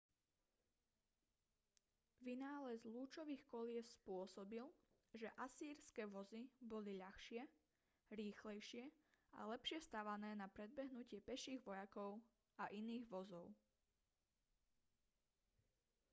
vynález lúčových kolies spôsobil že asýrske vozy boli ľahšie rýchlejšie a lepšie stavané na predbehnutie peších vojakov a iných vozov